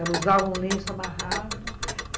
Ela usava um lenço amarrado...